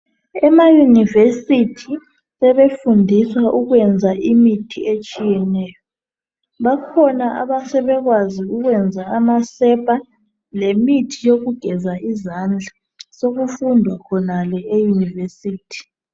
Ema university sebefunfiswa ukuyenza imithi etshiyeneyo. Bakhona asebekwazi ukuyenza amasepa. Lemithi yokugeza izandla. Sekufundwa khonale e university.